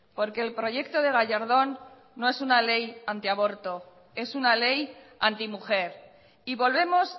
porque el proyecto de gallardón no es una ley antiaborto es una ley antimujer y volvemos